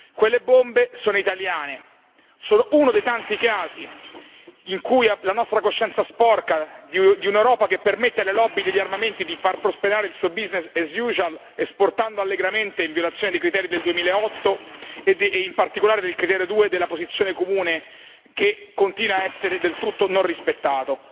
Quelle bombe sono italiane, sono uno dei tanti casi in cui la nostra coscienza sporca di un'Europa permette alle lobby degli armamenti di far prosperare il suo business as usual esportando allegramente in violazione dei criteri del 2008 e in particolare del criterio due della posizione comune che continua a essere del tutto non rispettato.